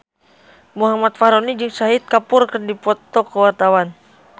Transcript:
Muhammad Fachroni jeung Shahid Kapoor keur dipoto ku wartawan